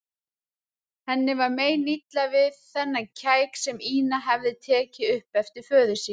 Henni var meinilla við þennan kæk sem Ína hafði tekið upp eftir föður sínum.